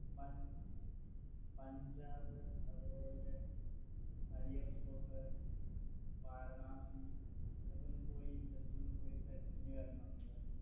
punch Punjab അതുപോലെ വാരാണസി ഇതൊക്കെ ഒന്ന് പോയി just ഒന്ന് പോയി വരണമെന്ന് വിചാരിക്കുന്നു